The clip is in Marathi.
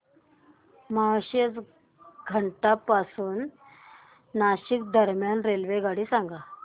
माळशेज घाटा पासून नाशिक दरम्यान रेल्वेगाडी सांगा